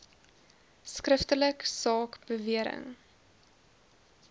skriftelik saak bewering